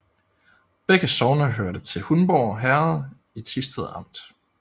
Begge sogne hørte til Hundborg Herred i Thisted Amt